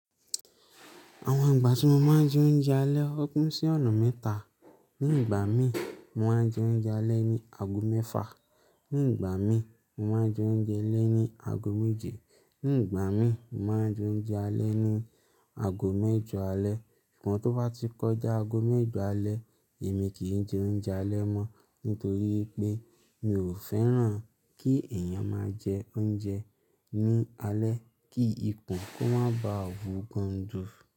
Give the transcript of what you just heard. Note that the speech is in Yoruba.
Àwọn ìgbà tí mo máa ń jẹ oúnjẹ alẹ́, ó gún sí ọ̀nà mẹ́ta. Ní ìgbà mi, mo máa ń jẹ oúnjẹ alẹ́ ní ago mẹ́fa. Ní ìgbà mi, mo máa ń jẹ oúnjẹ alẹ́ ní ago méje. Ní ìgbà mi, mo máa ń jẹ oúnjẹ alẹ́ ní ago mẹ́jọ alẹ́. Sugbon tó bá ti kọjá ago mẹ́jọ alẹ́, èmi kì í jẹ oúnjẹ alẹ́ mọ́ nítorí pé mi ò fẹ́ràn kí èèyàn máa jẹ oúnjẹ ní alẹ́ kí ikùn kó má ba à wú gan jù.